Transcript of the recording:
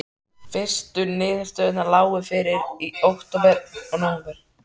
Fyrstu niðurstöðurnar lágu fyrir í október og nóvember.